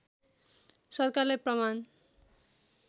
सरकारलाई प्रमाण